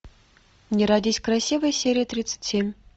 не родись красивой серия тридцать семь